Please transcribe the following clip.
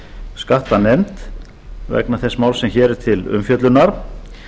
skattanefnd vegna þess máls sem hér er til umfjöllunar